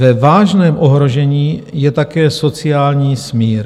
Ve vážném ohrožení je také sociální smír.